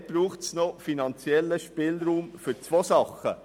Dort braucht es noch finanziellen Spielraum in zwei Bereichen.